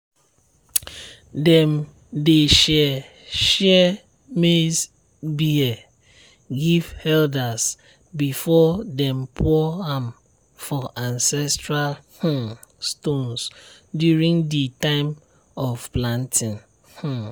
dem dey share share maize beer give elders before dem pour am for ancestral um stones during di time of planting um